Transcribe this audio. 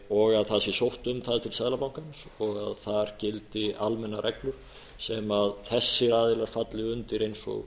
og að það sé sótt um það til seðlabankans og að þar gildi almennar reglur sem þessir aðilar falli undir eins og